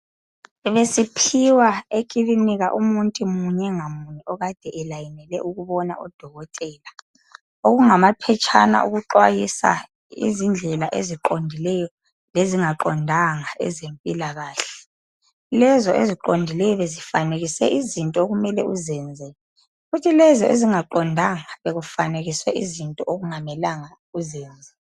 Besiphiwa ekilinika umuntu munye ngamunye okade elayinele ukubona odokotela, okungamaphetshana okuxwayisa izindlela eziqondileyo lezingaqondanga ezempilakahle. Lezo eziqondileyo bezifanekise izinto okumele uzenze, kuthi lezi ezingaqondanga bekufanekiswe izinto okungamelanga uzenze.